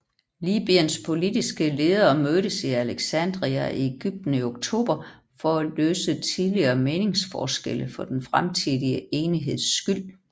Libyens politiske ledere mødtes i Alexandria i Egypten i oktober for at løse tidligere meningsforskelle for den fremtidige enigheds skyld